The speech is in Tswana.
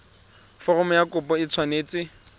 foromo ya kopo e tshwanetse